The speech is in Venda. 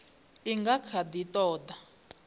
i nga kha ḓi ṱoḓa